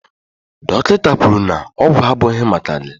Dọkịta kwuru na ọgwụ abụghị maka gị